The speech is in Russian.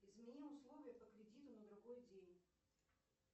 измени условия по кредиту на другой день